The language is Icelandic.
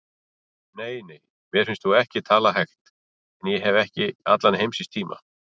Nei, nei, mér finnst þú ekki tala hægt en ég hef ekki allan heimsins tíma.